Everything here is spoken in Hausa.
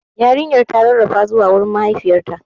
Yarinyar ta rarrafa zuwa gurin mahaifiyarta.